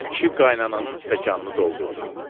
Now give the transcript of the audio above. Xan kişi qaynatanın stəkanını doldurdu.